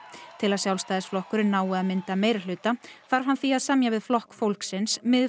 til að Sjálfstæðisflokkurinn nái að mynda meirihluta þarf hann því að semja við Flokk fólksins